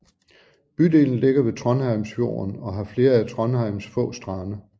Bydelen ligger ved Trondheimsfjorden og har flere af Trondheims få strande